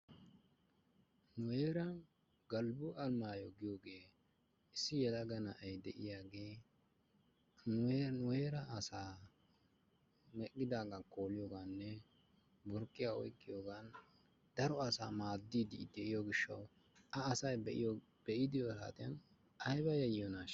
Nu heeran Galbbo Alamaaya giyogee issi yelaga na'ay de'iyagee nu heera asaa meqqidaagaa kooliyogaaninne burqqiya oyqqiyogan maaddiiddi de'iyogan A asay be'iyogan A be'iyode ay keenaa yayyiyonaashsha?